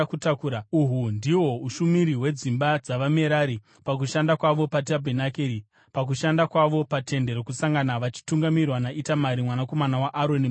Uhu ndihwo ushumiri hwedzimba dzavaMerari pakushanda kwavo paTende Rokusangana vachitungamirirwa naItamari mwanakomana waAroni, muprista.”